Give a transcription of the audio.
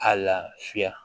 A lafiya